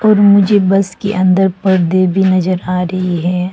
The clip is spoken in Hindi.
मुझे बस के अंदर पर्दे भी नज़र आ रही हैं।